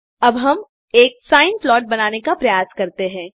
अब हम एक सिने प्लॉट बनाने का प्रयास करते हैं